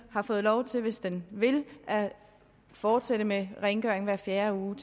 har fået lov til hvis den vil at fortsætte med rengøring hver fjerde uge